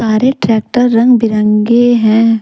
सारे ट्रैक्टर रंग बिरंगे हैं।